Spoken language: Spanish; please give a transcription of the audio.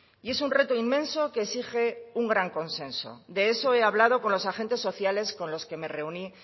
y es un reto inmenso que exige un gran consenso de eso ha hablado con los agentes sociales con los que me reuní